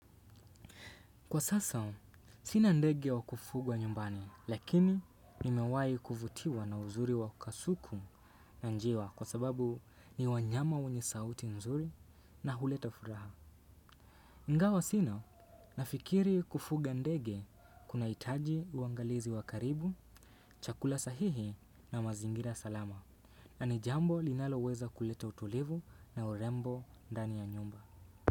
Kwa sasa, sinandege wa kufugwa nyumbani, lakini nimewahi kuvutiwa na uzuri wa kasuku na njiwa kwa sababu ni wanyama wenye ni sauti nzuri na huleta furaha. Ingawa sina, nafikiri kufuga ndege kuna hitaji uangalizi wakaribu, chakula sahihi na mazingira salama. Na ni jambo linalo weza kuleta utulivu na urembo ndani ya nyumba.